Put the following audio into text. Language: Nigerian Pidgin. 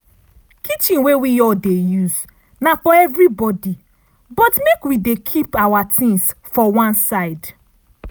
kitchen wey we all dey use na for everi body but make wi dey keep awa tings for one side.